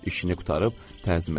İşini qurtarıb təzim elədi.